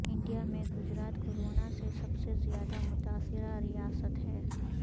India میں Gujarat corona سے سب سے زیادہ متاثرہ ریاست ہے